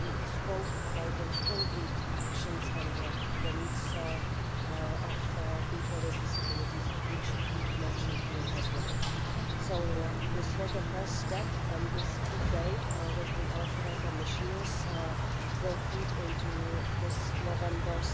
We spoke about those concrete actions and the needs of people with disabilities, which you have mentioned here as well. This was the first step and this debate with the electoral commissioners will feed into this November's